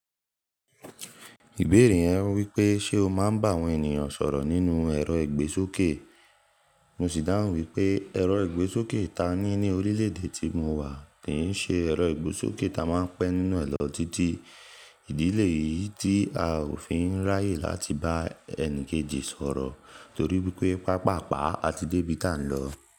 Ìbéèrè yẹn wípé ṣe o máa ń bá àwọn ènìyàn sọ̀rọ̀ nínú ẹ̀rọ ìgbésókè. Mo sì dáhùn wípé ẹ̀rọ ìgbésókè ta ní ní orílẹ̀ èdè tí mo wà kì ń ṣe ẹ̀rọ ìgbésókè ta máa ń pẹ́ nínú ẹ̀ lọ títí. Ìdílé yìí tí a ò fi ń ráyè láti bá ẹni kejì sọ̀rọ̀ torí wípé pàápàá a ti dé ibi ta ń lọ.